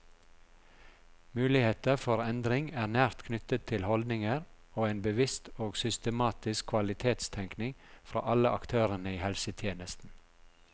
Muligheter for endring er nært knyttet til holdninger og en bevisst og systematisk kvalitetstenkning fra alle aktørene i helsetjenesten.